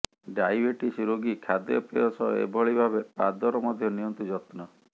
diabetes ରୋଗୀ ଖାଦ୍ୟପେୟ ସହ ଏଭଳି ଭାବେ ପାଦର ମଧ୍ୟ ନିଅନ୍ତୁ ଯତ୍ନ